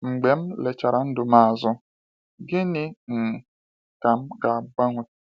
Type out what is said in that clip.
Mgbe m lechara ndụ m azụ, gịnị um ka m ga-agbanwe?